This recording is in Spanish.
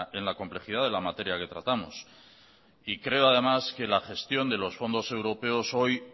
en la complejidad de la materia que tratamos y creo además que la gestión de los fondos europeos hoy